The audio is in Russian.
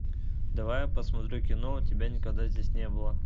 давай я посмотрю кино тебя никогда здесь не было